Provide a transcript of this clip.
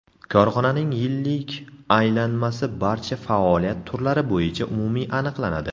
Korxonaning yillik aylanmasi barcha faoliyat turlari bo‘yicha umumiy aniqlanadi.